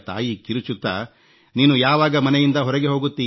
ಆಗ ತಾಯಿ ಕಿರುಚುತ್ತಾ ನೀನು ಯಾವಾಗ ಮನೆಯಿಂದ ಹೊರಗೆ